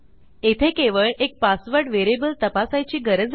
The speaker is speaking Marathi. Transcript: येथे केवळ एक पासवर्ड व्हेरिएबल तपासायची गरज आहे